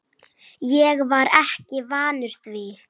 Ég var ekki vanur því.